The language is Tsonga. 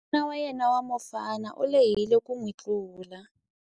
N'wana wa yena wa mufana u lehile ku n'wi tlula.